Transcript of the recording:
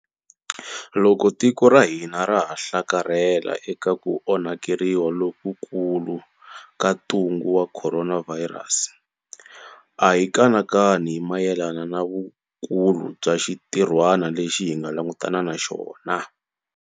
Loko tiko ra hina ra ha hlakarhela eka ku onhetela lokukulu ka ntungu wa khoronavhayirasi, a hi kanakani hi mayelana na vukulu bya xintirhwana lexi hi nga langutana na xona.